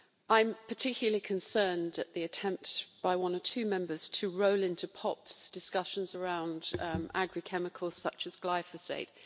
I am particularly concerned at the attempts by one or two Members to roll into POPs discussions around agri chemicals such as glyphosate.